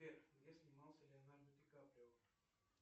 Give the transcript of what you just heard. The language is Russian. сбер где снимался леонардо ди каприо